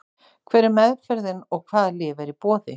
Hver er meðferðin og hvaða lyf eru í boði?